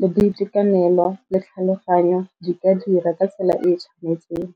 le boitekanelo le tlhaloganyo di ka dira ka tsela e e tshwanetseng.